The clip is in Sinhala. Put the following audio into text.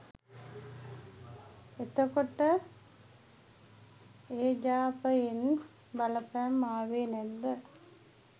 එතකොට එජාපයෙන් බලපෑම් ආවේ නැද්ද